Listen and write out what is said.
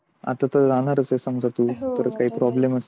आता तर राहणारच समज तू आता काय problem नाही.